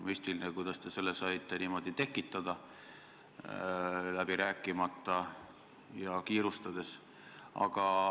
Müstiline, kuidas te saite selle niimoodi tekitada – läbi rääkimata ja kiirustades.